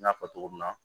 N y'a fɔ cogo min na